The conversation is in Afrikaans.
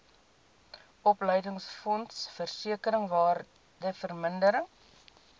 opleidingsfonds versekering waardevermindering